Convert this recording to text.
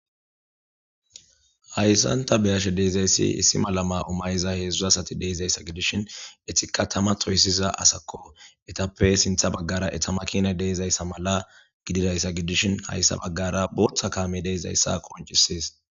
Hayssanta beyashe deizayssi issi malama umayiza heedzdzu asati deeizayssa gidishin etikka tama toysiza asakko etappe sintha baggara etamakina deezayssa mala gididayssa gidishin hayssa baggara booththa kaame deizayssa qoncisees